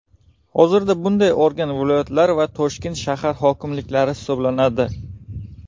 Hozirda bunday organ viloyatlar va Toshkent shahar hokimliklari hisoblanadi.